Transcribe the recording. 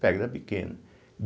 Pedra pequena.